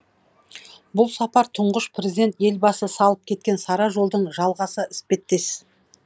бұл сапар тұңғыш президент елбасы салып кеткен сара жолдың жалғасы іспеттес